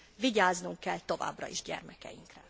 Vigyáznunk kell továbbra is gyermekeinkre.